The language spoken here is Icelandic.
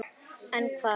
En hvar?